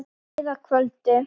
Það leið að kvöldi.